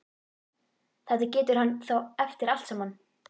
Þetta getur hann þá eftir allt saman!